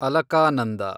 Alaknanda